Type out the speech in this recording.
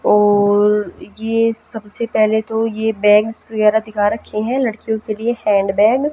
और ये सबसे पहले तो ये बैग्स वगैरा दिखा रखे हैं लड़कियों के लिए हैंड बैग --